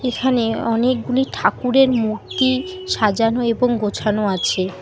এখানে অনেকগুলি ঠাকুরের মূর্তি সাজানো এবং গোছানো আছে।